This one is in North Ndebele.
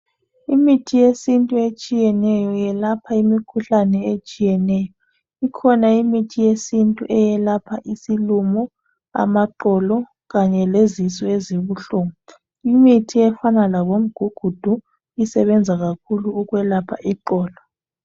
Imithi yesintu etshiyeneyo yelapha imikhuhlane etshiyeneyo ikhona imithi yesintu eyelapha isilumo, amaqolo, kanye lezisu ezibuhlungu, imithi efana labomgugudhu isebenza kakhulu ukulapha iqolo.